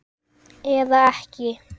Eða ekki!